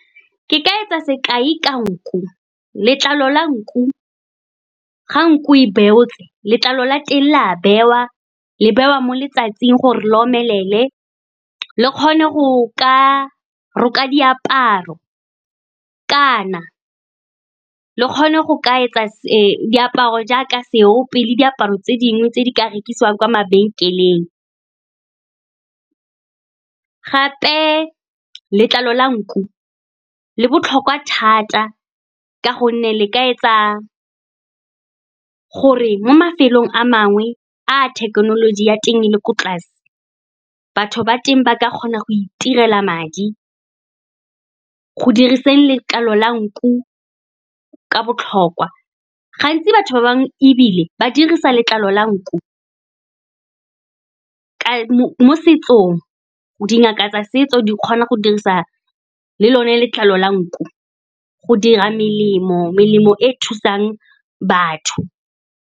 Ke ka etsa sekai ka nku, letlalo la nku, ga nku e beotswe, letlalo la teng le a bewa, le bewa mo letsatsing gore le omelele, le kgone go ka roka diaparo kana le kgone go ka etsa diaparo jaaka seope le diaparo tse dingwe tse di ka rekisiwang kwa mabenkeleng. Gape letlalo la nku le botlhokwa thata ka gonne le ka etsa gore mo mafelong a mangwe a thekenoloji ya teng le ko tlase, batho ba teng ba ka kgona go itirela madi. Go diriseng letlalo la nku ka botlhokwa, gantsi batho ba bangwe ebile ba dirisa letlalo la nku mo setsong. Dingaka tsa setso di kgona go dirisa le lone letlalo la nku go dira melemo, melemo e e thusang batho.